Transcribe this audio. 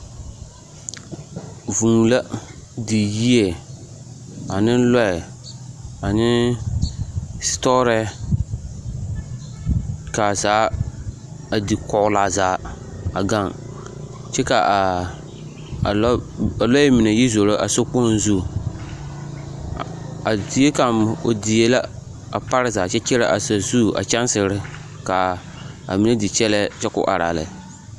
Vûû la do yie ane lɔɛ ane setɔɔrɛɛ kaa zaa a di kɔɔle a zaa a gaŋ kyɛ ka kaa a lɔɛ mine yi zoro sokpoŋ zu a zie kaŋ o die la a parezaa kyɛ kyɛrɛ a sazu a kyansere kaa mine di kyɛlɛɛ kyɛ ka o araa lɛ